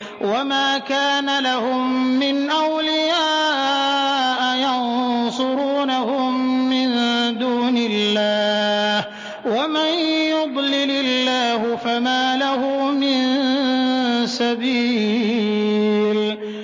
وَمَا كَانَ لَهُم مِّنْ أَوْلِيَاءَ يَنصُرُونَهُم مِّن دُونِ اللَّهِ ۗ وَمَن يُضْلِلِ اللَّهُ فَمَا لَهُ مِن سَبِيلٍ